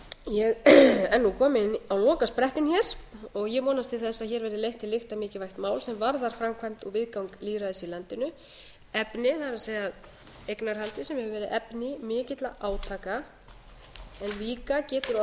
ég er nú komin á lokaprettinn hér og ég vonast til þess að hér verið leitt til lykta mikilvægt mál sem varðar framkvæmd og viðgang lýðræðis í landinu efnið það er eignarhaldið sem hefur verið efni mikilla átaka en líka getur orðið